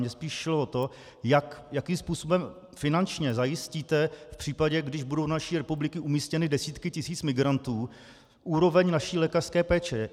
Mně spíš šlo o to, jakým způsobem finančně zajistíte v případě, když budou do naší republiky umístěny desítky tisíc migrantů, úroveň naší lékařské péče.